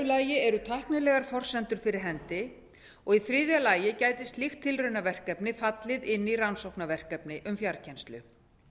lagi eru tæknilegar forsendur fyrir hendi í þriðja lagi gæti slíkt tilraunaverkefni fallið inn í rannsóknarverkefni um fjarkennslu